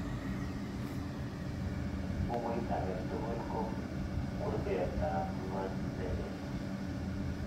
Bukuit age tugul ko kurketap ngony nelel